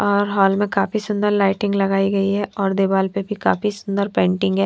और हॉल में काफी सुंदर लाइटिंग लगाई गई है और दीवार पर भी काफी सुंदर पेंटिंग हैं।